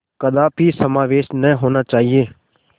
कदापि समावेश न होना चाहिए